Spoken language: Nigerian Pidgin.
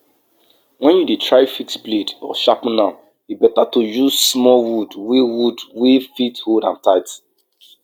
clear dirty of dead plant from soil wey you wan use plant make you reduce pest wahala and stop disease from piling up